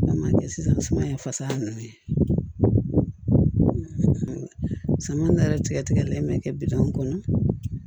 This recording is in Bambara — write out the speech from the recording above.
Sisan suman ye fasa nunnu ye samiya tigɛ tigɛlen bɛ kɛ bitɔn kɔnɔ